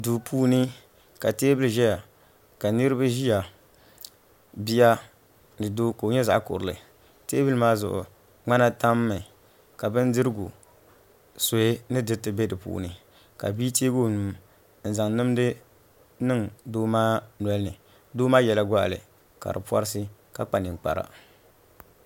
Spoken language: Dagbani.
Duu puuni ka teebuli ʒɛya ka niraba ʒiya bia ni doo ka o nyɛ zaɣ kurili teebuli maa zuɣu ŋmana tammi ka bindirigu suhi ni diriti bɛ di puuni ka bia teegi o nuu n zaŋ nimdi niŋ doo maa nolini doo maa yɛla goɣali ka di porisi ka kpa ninkpara